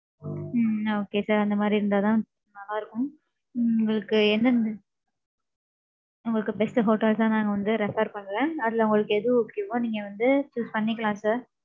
உம் okay sir, அந்த மாதிரி இருந்தாதான், நல்லா இருக்கும். உங்களுக்கு எந்த மி~ உங்களுக்கு, best hotels ஆ, நாங்க வந்து, refer பண்றேன். அதுல, உங்களுக்கு, எது okay வோ, நீங்க வந்து, choose பண்ணிக்கலாம், sir